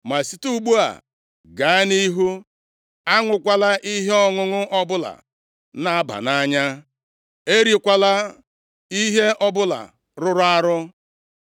Ma site ugbu a, gaa nʼihu, aṅụkwala ihe ọṅụṅụ ọbụla na-aba nʼanya. Erikwala ihe ọbụla rụrụ arụ.